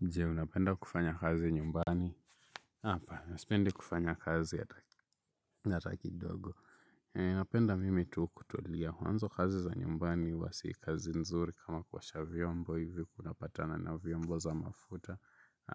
Je, unapenda kufanya kazi nyumbani? Hapana sipendi kufanya kazi hata kidogo. Ninapenda mimi tu kutulia. Mwanzo kazi za nyumbani huwa si kazi nzuri kama kuosha vyombo hivi una patana na vyombo za mafuta.